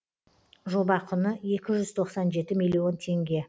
жоба құны екі жүз тоқсан жеті миллион теңге